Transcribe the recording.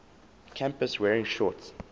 campus wearing shorts